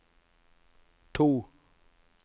to